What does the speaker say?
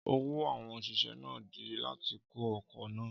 Ọwọ́ àwọn òṣìṣẹ́ náà dí láti kó ọkọ̀ náà.